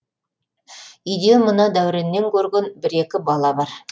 үйде мына дәуреннен көрген бір екі бала бар